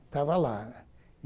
Estava lá.